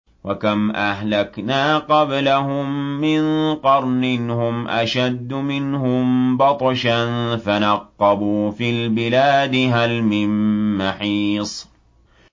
وَكَمْ أَهْلَكْنَا قَبْلَهُم مِّن قَرْنٍ هُمْ أَشَدُّ مِنْهُم بَطْشًا فَنَقَّبُوا فِي الْبِلَادِ هَلْ مِن مَّحِيصٍ